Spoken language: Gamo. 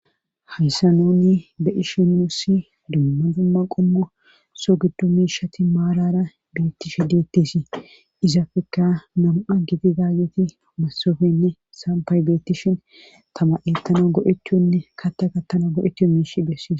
habisanoni be ishinusi dumma dumma qommo so gido miishati maalara beettishe deetteesii izafekka namu7a gidi daayeti masofenne sampay beettishin tama7e tana go7etchonne katta ka tana go7ettu miish dessie